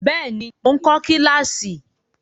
Bẹ́ẹ̀ ni, mò ń kọ kíláàsì.